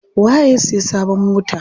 Waye ya siya sabon mota?